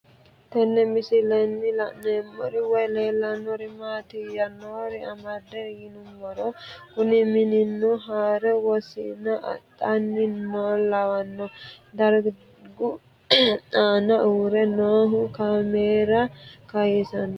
Tenne misilenni la'nanniri woy leellannori maattiya noori amadde yinummoro kunni mininno haaro wosiinna adhanni nooha lawanno darajju aanna uure noohu kaamera kayiisanoreetti